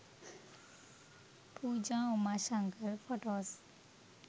pooja umashankar photos